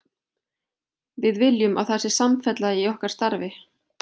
Við viljum að það sé samfella í okkar starfi.